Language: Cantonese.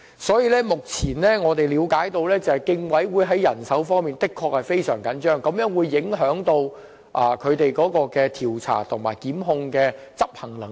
所以，我們明白競委會目前在人手方面的確非常緊絀，這會影響其調查及檢控方面的執行能力。